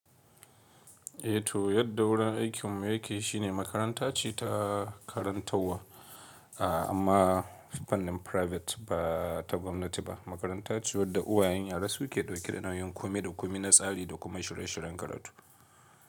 Eh to yadda wurin aikinmu yake shine makaranta ce ta karantawa a amma fannin private ba ta gwamnati ba. Makaranta ce wadda uwayen yara su ke dauke da nauyin komi da komi, na tsari da kuma shirye-shiryen karatu.